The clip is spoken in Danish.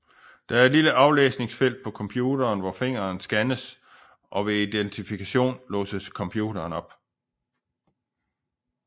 Der er et lille aflæsningsfelt på computeren hvor fingeren scannes og ved identifikation låses computeren op